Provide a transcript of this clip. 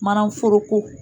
Mana foroko